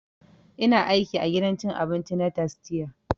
Ina aiki a gidan cin abinci na tastia